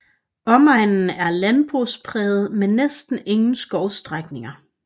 Omegnen er landbrugspræget med næsten ingen skovstrækninger